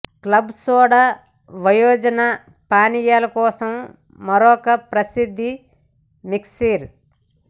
club soda వయోజన పానీయాల కోసం మరొక ప్రసిద్ధ మిక్సర్